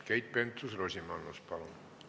Keit Pentus-Rosimannus, palun!